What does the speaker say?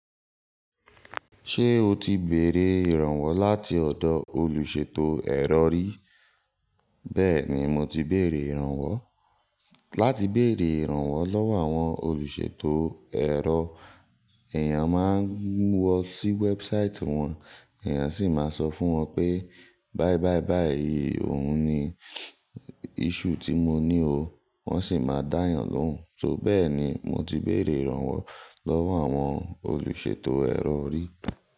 Ṣé o ti bèrè ìrànwọ́ láti ọ̀dọ̀ olùṣètò ẹ̀rọ rí? Bẹ́ẹ̀ni, mo ti bèrè ìrànwọ́. Láti bèrè ìrànwọ́ lọ́wọ́ àwọn olùṣètò ẹ̀rọ, èèyàn máa ń lọ sí website wọn, èèyàn sì máa sọ fún wọn pé báí báí báí, òun ni issue tí mo ní o, wọ́n sì máa dá a yàn lóhùn. So bẹ́ẹ̀ ni mo ti bèrè ìrànwọ́ lọ́wọ́ àwọn olùṣètò ẹ̀rọ rí.